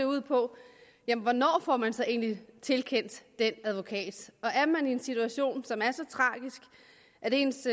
ud på jamen hvornår får man så egentlig tilkendt den advokat er man i en situation som er så tragisk at ens